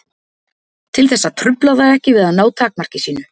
Til þess að trufla það ekki við að ná takmarki sínu.